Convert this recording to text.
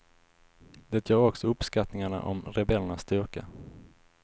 Det gör också uppskattningarna om rebellernas styrka.